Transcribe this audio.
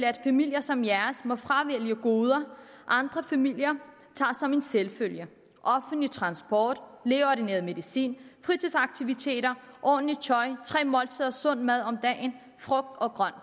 at familier som jeres må fravælge goder andre familier tager som en selvfølge offentlig transport lægeordineret medicin fritidsaktiviteter ordentligt tøj tre måltider sund mad om dagen frugt og grønt